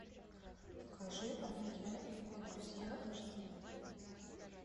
покажи он я и его друзья аш ди